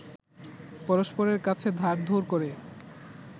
পরস্পরের কাছে ধার-ধোর করে